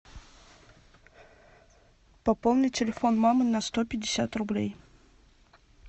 пополни телефон мамы на сто пятьдесят рублей